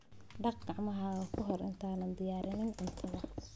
Dhaq gacmahaaga ka hor intaadan diyaarin cuntadaada.